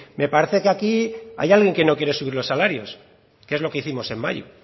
me parece que aquí hay alguien que no quiere subir los salarios que es lo que hicimos en mayo